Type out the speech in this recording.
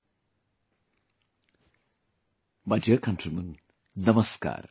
My dear countrymen, Namaskar